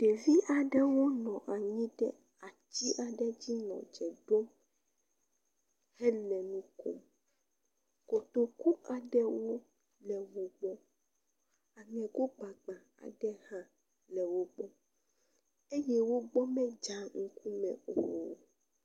Ɖevi aɖewo nɔ anyi ɖe atsi aɖe dzi nɔ dze ɖom hele nukom, kotoku ka ɖewo le hoho, aŋego gbagba aɖe hã le wogbɔ eye wogbɔ medzaa ŋkume o.